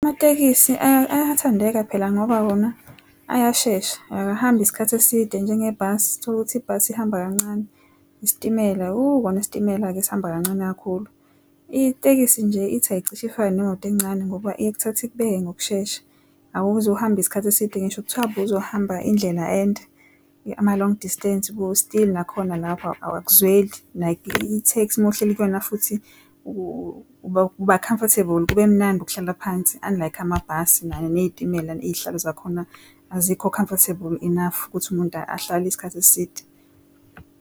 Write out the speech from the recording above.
Amatekisi ayathandeka phela ngoba wona ayashesha akahambi isikhathi eside njenge bhasi tholukuthi ibhasi ihamba kancane isitimela kona isitimela ke sihamba kancane kakhulu. Itekisi nje ithi aycisha ifane nemoto encane ngoba ikuthatha ikubeke ngokushesha awuzu hamba isikhathi eside, ngisho kuthiwa bozohamba indlela ende ama-long distance kuwo still nakhona lapha awakuzweli, like itheksi mawuhleli kuyona futhi uba comfortable kube mnandi ukuhlala phansi unlike amabhasi nezitimela izihlalo zakhona azikho comfortable enough ukuthi umuntu ahlale isikhathi eside.